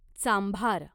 चांभार